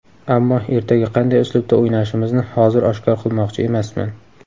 Ammo ertaga qanday uslubda o‘ynashimizni hozir oshkor qilmoqchi emasman.